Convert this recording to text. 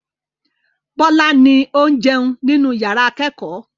Bọ́lá ni ó ń jẹun nínú ìyàrá-ìkẹ́kọ̀ọ́.